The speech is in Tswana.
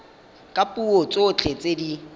ka dipuo tsotlhe tse di